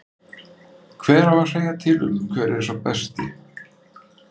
Hver á að segja til um hver er sá besti?